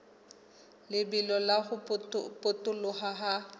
lebelo la ho potoloha ha